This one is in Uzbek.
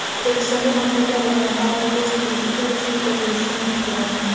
O‘zbekistonda maktablar yaqinida alkogol sotilishiga ruxsat berilishi mumkin.